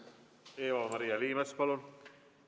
Eva-Maria Liimets, palun!